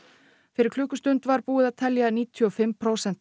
fyrir klukkustund var búið að telja níutíu og fimm prósent